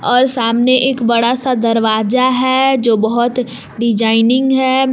सामने एक बड़ा सा दरवाजा है जो बहोत डिजाइनिंग है।